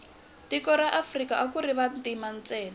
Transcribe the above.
tiko ra afrika akuri vantima ntsena